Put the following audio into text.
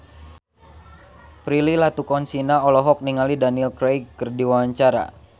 Prilly Latuconsina olohok ningali Daniel Craig keur diwawancara